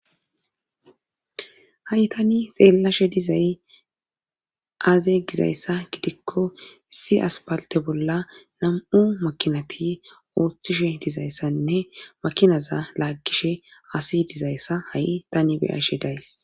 Ha'i tani xeellashe dizay aaze gizayssa gidikko issi aspalte bolla nam'u makinati ooththishe dizayssanne makinaza laaggishe asi dizayssa ha'i tani bey ashe days.